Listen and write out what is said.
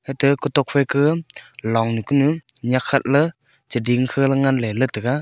ate kutok phaike longnu kunu nyak khatla cheding khala ley tega.